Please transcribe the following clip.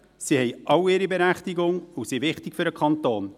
Sie alle haben ihre Berechtigung und sind wichtig für den Kanton.